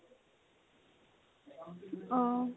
অ